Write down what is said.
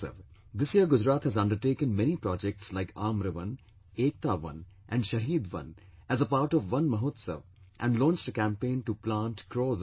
This year Gujarat has undertaken many projects like 'Aamra Van', 'Ekata Van' and 'Shaheed Van' as a part of Van Mahotsav and launched a campaign to plant crores of trees